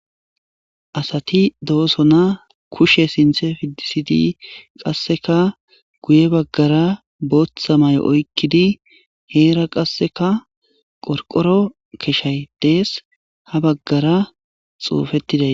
asati dooso na kushe sinthe fi disidi qasseka guye baggara bootha may7o oykkidi heera qasseka qorqoro keshay dees ha baggara xuufettiday